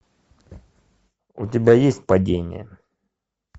у тебя есть падение